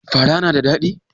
Fara na da ɗadi?